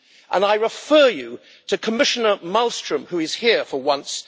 And I refer you to Commissioner Malmström, who is here for once.